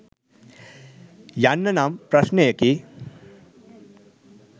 යන්න නම් ප්‍රශ්නයකි.